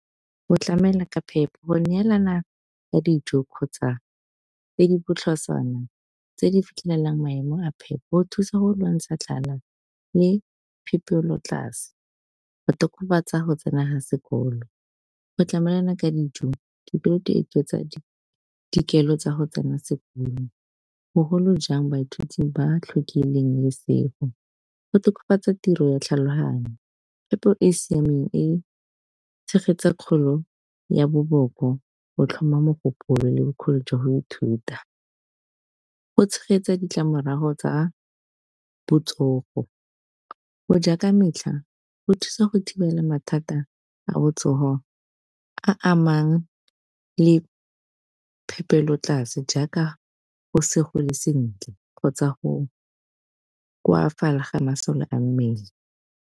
Go tlamela ka phepa go neelana ka dijo kgotsa tse di botlhoswana tse di fitlhelelang maemo a phepo thusa go lwantsha tlala le phepelotlase, go tokafatsa go tsena ha sekolo, go tlamelana ka dijo. Tsa dikelo tsa go tsena sekolo bogolo jang baithuti ba tlhokileng lesego, go tokafatsa tiro ya tlhaloganyo, phepo e e siameng e tshegetsang kgolo ya boboko go tlhoma mogopolo le bokgoni jwa go ithuta. Go tshegetsa ditlamorago tsa botsogo go ja ka metlha go thusa go thibela mathata a botsogo a amang le phepelotlase jaaka go segole sentle kgotsa go koafala ga masole a mmele.